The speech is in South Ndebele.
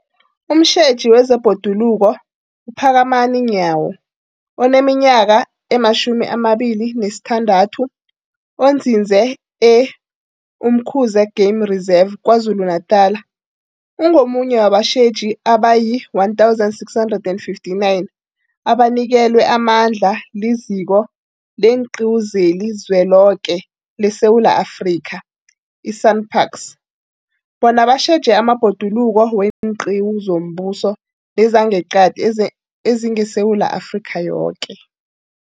Umtjheji wezeBhoduluko uPhakamani Nyawo oneminyaka ema-26, onzinze e-Umkhuze Game Reserve KwaZulu-Natala, ungomunye wabatjheji abayi-1 659 abanikelwe amandla liZiko leenQiwu zeliZweloke leSewula Afrika, i-SANParks, bona batjheje amabhoduluko weenqiwu zombuso nezangeqadi ezingeSewula Afrika yoke.